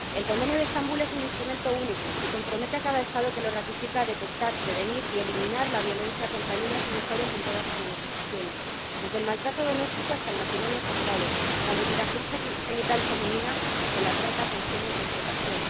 El Convenio de Estambul es un instrumento único, que compromete a cada Estado que lo ratifica a detectar, prevenir y eliminar la violencia contra niñas y mujeres en todas sus manifestaciones, desde el maltrato doméstico hasta el matrimonio forzado, la mutilación genital femenina o la trata con fines de explotación.